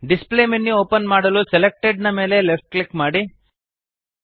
display menu open ಮಾಡಲು selected ನ ಮೇಲೆ ಲೆಫ್ಟ್ ಕ್ಲಿಕ್ ಮಾಡಿರಿ